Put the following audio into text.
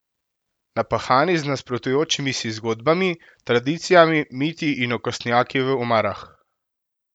Naphani z nasprotujočimi si zgodbami, tradicijami, miti in okostnjaki v omarah.